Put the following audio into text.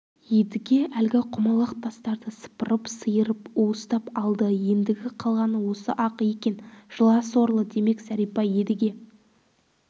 едіге әлгі құмалақ тастарды сыпырып-сиырып уыстап алды ендігі қалғаны осы-ақ екен жыла сорлы демек зәрипа едіге